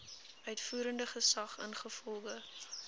uitvoerende gesag ingevolge